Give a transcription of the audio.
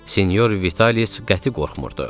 Sinyor Vitalic qəti qorxmurdu.